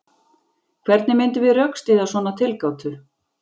Hvernig myndum við rökstyðja svona tilgátu?